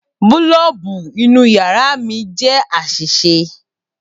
Boolubu inu yara mi jẹ aṣiṣe.